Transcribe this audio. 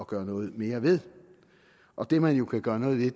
gøre noget mere ved og det man kan gøre noget ved